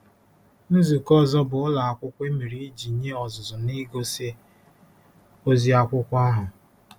Nzukọ ọzọ bụ ụlọ akwụkwọ e mere iji nye ọzụzụ n'igosi ozi akwụkwọ ahụ.